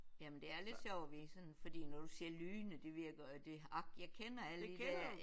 Jamen det er lidt sjovt vi sådan fordi når du siger Lyne det virker det ak jeg kender alle de der